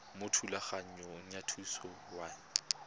mo thulaganyong ya thuso y